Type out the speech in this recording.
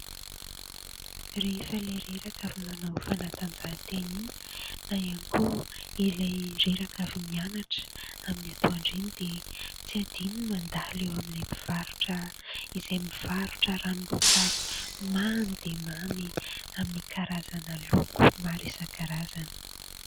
Rehefa ilay reraka avy manao fanatanjahatena iny na ihany koa ilay reraka avy mianatra amin'ny atoandro iny dia tsy adino ny mandalo eo amin'ilay mpivarotra izay mivarotra ranomboankazo mamy dia mamy amin'ny karazana loko maro isa-karazany.